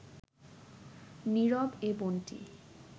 নীরব এ বনটি